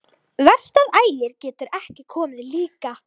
Verst að Ægir getur ekki komið líka.